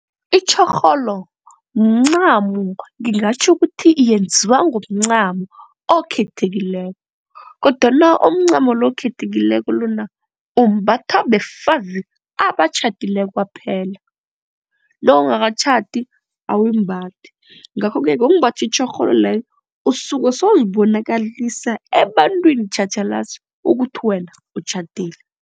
Itjhorholo mncamo ngingatjho ukuthi yenziwa ngomncamo okhethekileko kodwana omncamo lo okhethekileko lona umbatha befazi abatjhadileko kwaphela. Lo ongakatjhadi awuwumbathi ngakho-ke ngokumbatha itjhorholo leyo usuke sewuzibonakalisa ebantwini tjhatjhalazi ukuthi wena utjhadile.